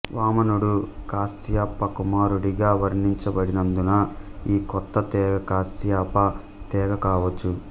వామనుడు కశ్యప కుమారుడిగా వర్ణించబడినందున ఈ కొత్త తెగ కశ్యప తెగ కావచ్చు